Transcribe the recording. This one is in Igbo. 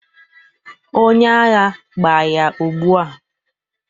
onye agha, gbaa ya ugbua